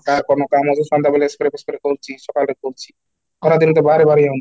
କାହାର କ'ଣ କାମ ଯେ ସନ୍ଧ୍ୟା ବେଳେ spray କରୁଛି, ସକାଳେ କରୁଛି ଖରା ଦିନେ ତ ବାହାରେ ବାହାରି ହଉନି